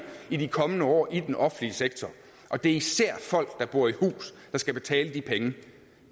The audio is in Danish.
i de kommende år i den offentlige sektor og det er især folk der bor i hus der skal betale de penge